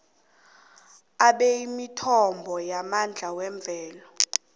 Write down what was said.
bemithombo yamandla yemvelo